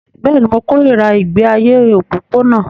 Bẹ́ẹ̀ ni, mo kórìíra ìgbé ayé òpópónà